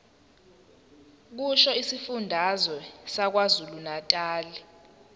kusho isifundazwe sakwazulunatali